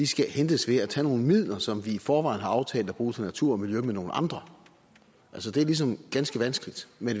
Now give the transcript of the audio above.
skal hentes ved at tage nogle midler som vi i forvejen har aftalt at bruge til natur og miljø med nogle andre det er ligesom ganske vanskeligt men